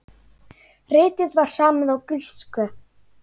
Ritið var samið á grísku.